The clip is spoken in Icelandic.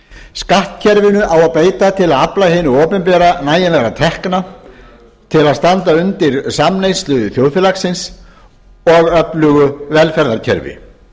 skattkerfinu á að beita til að afla hinu opinbera nægjanlegra tekna til að standa undir samneyslu þjóðfélagsins og öflugu velferðarkerfi